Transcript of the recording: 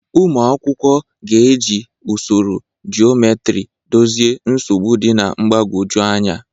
Ụmụ akwụkwọ ga-eji usoro geometry dozie nsogbu dị mgbagwoju anya.